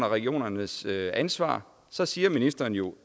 regionernes ansvar så siger ministeren jo